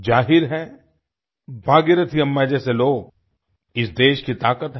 ज़ाहिर है भागीरथी अम्मा जैसे लोग इस देश की ताकत हैं